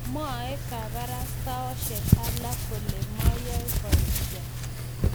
mwoe kabarastosiek alak kole mayoe boisio